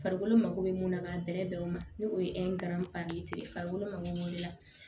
Farikolo mako bɛ mun na k'a bɛrɛ bɛn o ma ni o ye farikolo mako bɛ o de la